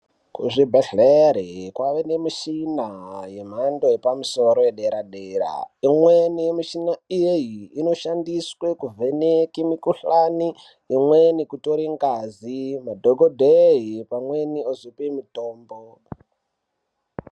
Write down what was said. Kuzvibhedhleri kweve nemishina yemhando yepamusoro yedera dera imweni mishina iyi inoshandiswe kuvheneka mikhuhlani, imweni kutore ngazi madhokodheye pamweniozope mitombo.